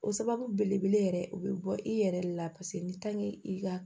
O sababu belebele yɛrɛ o be bɔ i yɛrɛ de la paseke ni i ka